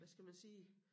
Hvad skal man sige